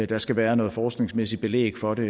der skal være noget forskningsmæssigt belæg for det